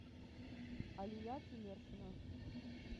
алия тимершина